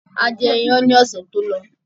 A jẹ iyán ni ọ̀sẹ̀ tó lọ